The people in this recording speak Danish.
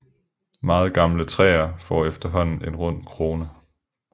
Meget gamle træer får efterhånden en rund krone